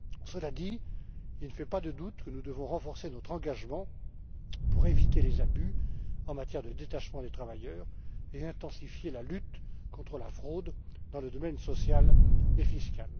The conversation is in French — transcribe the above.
Cela dit, il ne fait aucun doute que nous devons renforcer notre engagement pour éviter les abus en matière de détachement des travailleurs, et intensifier la lutte contre la fraude dans les domaines social et fiscal.